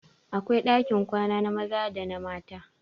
Akwai ɗakin kwana na maza da na mata